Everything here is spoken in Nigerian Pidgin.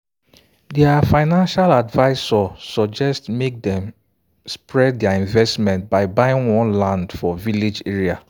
their financial adviser suggest make dem spread their investment by buying one land for village area.